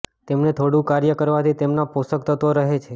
તેમને થોડું ફ્રાય કરવાથી તેમના પોષક તત્વો રહે છે